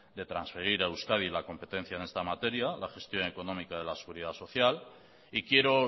de transferir a euskadi la competencia en esta materia la gestión económica de la seguridad social y quiero